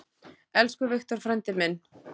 Elsku Victor frændi minn.